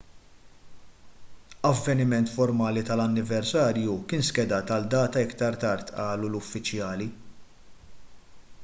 avveniment formali tal-anniversarju kien skedat għal data aktar tard qalu l-uffiċjali